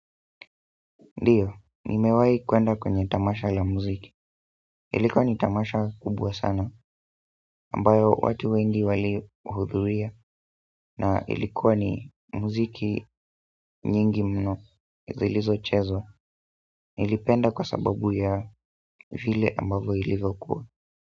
Ndiyo, nimewahi kuenda kwenye tamasha la muziki, ilikuwa ni tamasha kubwa sana, ambayo watu wengi walihudhuria, na ilikuwa ni muziki nyingi mno, zilizo chezwa, nilipenda kwa sababu ya vile ambavo ilivokua.